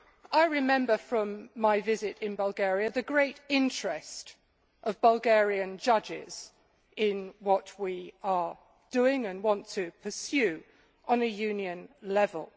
I remember from my visit to Bulgaria the great interest of Bulgarian judges in what we are doing and want to pursue at Union level.